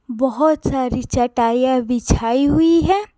बहुत सारी चटाइयां बिछाई हुई है।